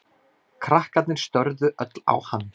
Krakkarnir störðu öll á hann.